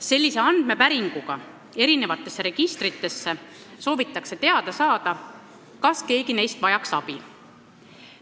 Sellise andmepäringuga eri registritesse soovitakse teada saada, kas keegi neist vajaks abi.